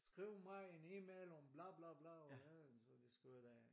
Skriv mig en email om bla bla bla og så de skriver de af